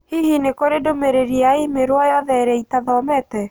Hihi nĩ kũrĩ ndũmĩrĩri ya i-mīrū o yothe ĩrĩa itathomete?